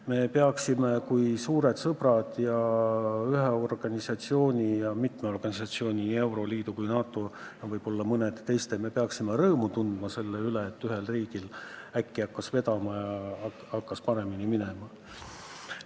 Me peaksime kui suured sõbrad ja ühe organisatsiooni, õigemini mitme organisatsiooni – nii euroliidu kui NATO – liige rõõmu tundma selle üle, et ühel riigil äkki hakkas vedama, hakkas paremini minema.